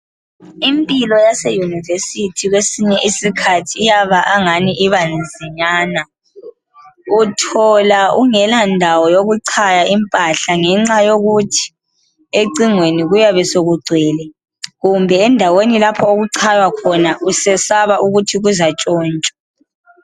Impilo yasemayunivesithi kwesinye isikhathi iyaba angani ibanzinyana uthola ungelandawo yokuchaya impahla ngenxa yokuthi ecingweni kuyabe sokugwele kumbe endaweni ,lapho ochaya khona usesaba ukuthi kuzantshontshwa.